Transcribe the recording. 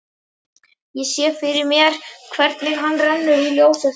Ég sé fyrir mér hvernig hann rennur út úr ljósastaurnum.